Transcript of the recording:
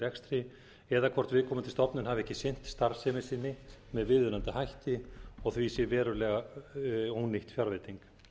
rekstri eða hvort viðkomandi stofnun hafi ekki sinnt starfsemi sinni með viðunandi hætti og því sé veruleg ónýtt fjárveiting